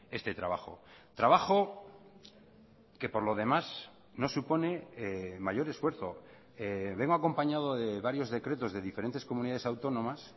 este trabajo trabajo que por lo demás no supone mayor esfuerzo vengo acompañado de varios decretos de diferentes comunidades autónomas